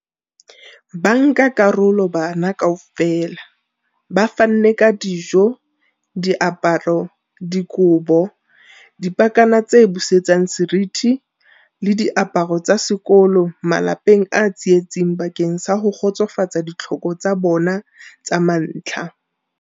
Bankakarolo bana kaofela ba fanne ka dijo, diaparo, dikobo, dipakana tse busetsang seriti le diaparo tsa sekolo malapeng a tsietsing bakeng sa ho kgotsofatsa ditlhoko tsa bona tsa mantlha.